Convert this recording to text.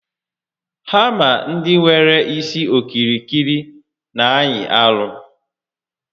Hama ndị nwere isi okirikiri n'anyị arụ